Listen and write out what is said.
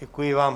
Děkuji vám.